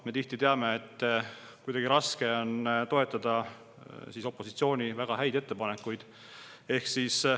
Me teame, et tihti on kuidagi raske toetada opositsiooni väga häid ettepanekuid.